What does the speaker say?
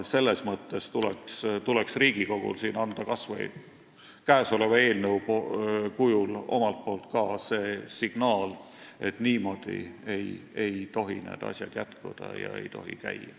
Riigikogul tuleks siin anda kas või käesoleva eelnõu kujul omalt poolt ka signaal, et niimoodi ei tohi need asjad jätkuda ega käia.